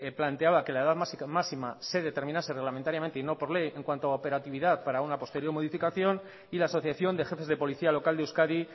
planteaba que la edad máxima se determinase reglamentariamente y no por ley en cuanto a operatividad para una posterior modificación y la asociación de jefes de policía local de euskadi